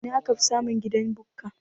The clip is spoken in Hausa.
Ina akafi samun gidan Bukka?